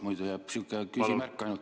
Muidu jääb stenogrammi ainult küsimärk?